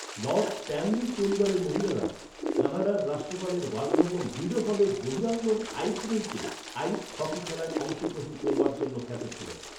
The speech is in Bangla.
লর্ড স্ট্যানলির পরিবারের মহিলারা কানাডার রাষ্ট্রপালের বাসভবন রিডো হলের বহিরাঙ্গন আইস রিঙ্কে আইস হকি খেলায় অংশগ্রহণ করবার জন্য খ্যাত ছিলেন।